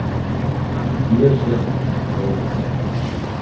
Mjög sérstök, eiginlega.